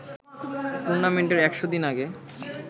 টুর্নামেন্টের ১০০ দিন আগে